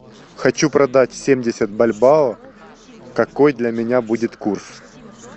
хочу продать семьдесят бальбоа какой для меня будет курс